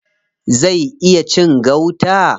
Zai iya cin gauta?